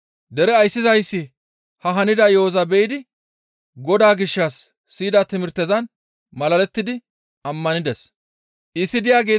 Dere ayssizayssi ha hanida yo7oza be7idi Godaa gishshas siyida timirtezan malalettidi ammanides.